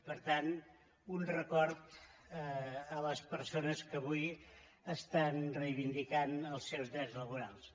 per tant un record a les persones que avui re·ivindiquen els seus drets laborals